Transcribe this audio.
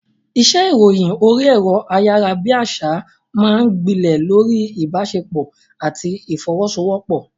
Iṣẹ́ ìròyìn orí ẹ̀rọ ayárabíàṣá máa ń gbilẹ̀ lórí ìbáṣepọ̀ àti ìfọwọ́sowọ́pọ̀.